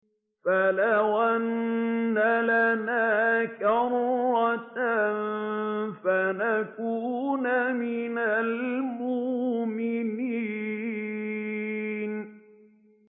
فَلَوْ أَنَّ لَنَا كَرَّةً فَنَكُونَ مِنَ الْمُؤْمِنِينَ